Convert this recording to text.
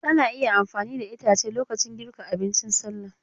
Ana iya amfani da itace lokacin girka abincin salla.